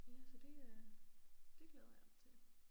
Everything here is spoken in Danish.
Ja så det øh det glæder jeg mig til